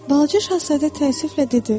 Balaca şahzadə təəssüflə dedi.